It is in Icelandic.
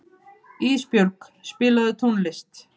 Ísbjörg, spilaðu tónlist.